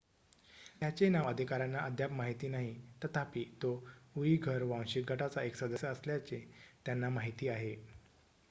त्याचे नाव अधिकाऱ्यांना अद्याप माहीत नाही तथापि तो उईघर वांशिक गटाचा एक सदस्य असल्याचे त्यांना माहीत आहे